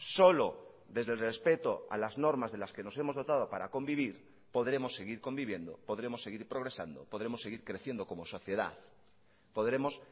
solo desde el respeto a las normas de las que nos hemos dotado para convivir podremos seguir conviviendo podremos seguir progresando podremos seguir creciendo como sociedad podremos